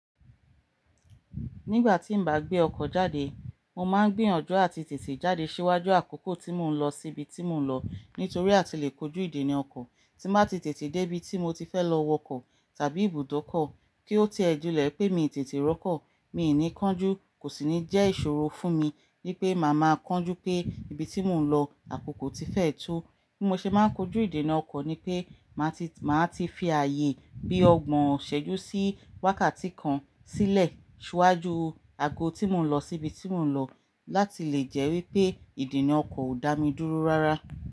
Nígbà tí n bá gbé ọkọ̀ jáde, mo máa ń gbiyanju àti tètè jáde síwájú àkókò tí mò ń lọ síbi tí mò ń lọ. Nítorí a ti lè kojú ìdena ọkọ̀ tí màá ti tètè dé bí tí mo ti fẹ́ lọ wọkọ̀ tàbí ibùdó ọkọ̀ kí ó ti ẹ julẹ pé mi tètè rọkọ̀. Mi ò ní kánjú, kò sì ní jẹ́ ìṣòro fún mi wí pé màá máa kánjú pé ibi tí mò ń lọ, àkókò tí fẹ́ tó. Bí mo ṣe máa ń kojú ìdena ọkọ̀ ni pé màá ti, màá ti fi ààyè bí ọgbọ̀n ṣẹ́jú sí wákàtí kan sílẹ̀ síwájú ago tí mò ń lọ síbi tí mò ń lọ láti lè jẹ́ wípé ìdena ọkọ̀ ó dá mi dúró rárá.